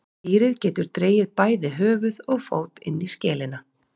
Dýrið getur dregið bæði höfuð og fót inn í skelina.